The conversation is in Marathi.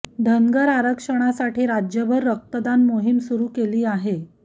धनगर आरक्षणासाठी राज्यभर रक्तदान मोहीम सुरु केली आहे